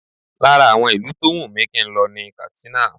Lára àwọn ìlú tó wùn mí kí n lọ ní Katsina